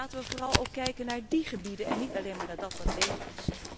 Dus laten we vooral ook kijken naar die gebieden, en niet alleen maar naar dat wat leeg